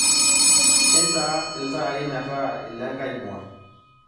intaa iltaai metaa ilengae mua